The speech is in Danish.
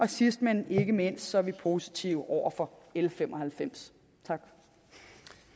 sidst men ikke mindst er vi positive over for l fem og halvfems